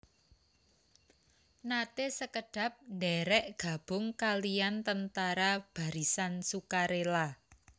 Naté sekedhap ndhèrèk gabung kalihan Tentara Barisan Sukarela